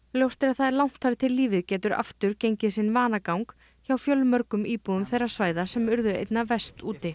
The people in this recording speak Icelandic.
ljóst er að það er langt þar til lífið getur aftur gengið sinn vanagang hjá fjölmörgum íbúum þeirra svæða sem urðu einna verst úti